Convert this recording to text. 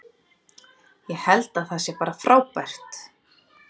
Ég held að það sé bara frábært.